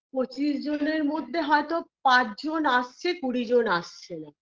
পঁচিশ জনের মধ্যে হয়তো পাঁচজন আসছে কুড়িজন আসছে না